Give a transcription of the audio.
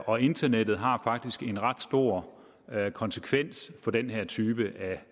og internettet har faktisk en ret stor konsekvens for den her type